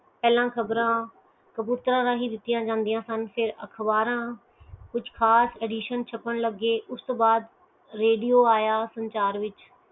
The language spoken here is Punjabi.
ਪਹਿਲਾ ਖ਼ਬਰ ਕਬੂਤਰ ਰਹੀ ਦਿਤੀਆਂ ਜਾਂਦੀਆਂ ਸਨ ਤੇ ਅਖਬਾਰਾਂ ਕੁਛ ਖਾਸ ਐਡੀਸ਼ਨ ਛਾਪਣ ਗਏ ਉਸਤੋਂ ਬਾਅਦ ਰੇਡੀਓ ਆਯਾ